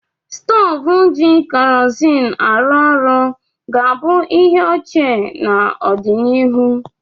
Stovu ji kerozin arụ orụ ga-abụ ihe ochie n'ọdịnihu.